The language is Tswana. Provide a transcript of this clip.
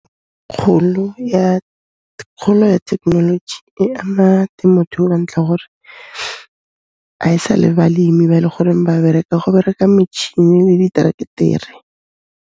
Kgolo ya thekenoloji e ama temothuo ka ntlha ya gore a e sa le balemi ba e le goreng ba bereka, go bereka metšhini le diteraktere.